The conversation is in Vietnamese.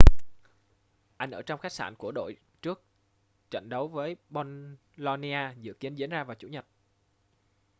anh ở trong khách sạn của đội trước trận đấu với bolonia dự kiến diễn ra vào chủ nhật